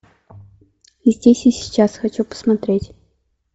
здесь и сейчас хочу посмотреть